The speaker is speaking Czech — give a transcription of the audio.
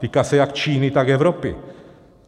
Týká se jak Číny, tak Evropy.